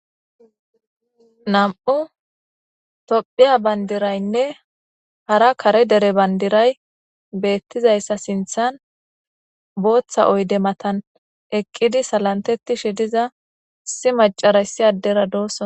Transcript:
Nam'u tophiya bandiraynne hara kare dere bandiray beettizayssa sinthan booththa oyde matan eqqidi salantetishi diza issi macaray issi addera doossos.